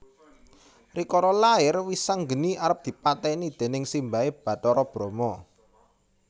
Rikala lair Wisanggeni arep dipatèni déning simbahé Bathara Brama